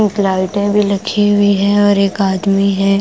एक लाइटे भी लगी हुई है और एक आदमी है।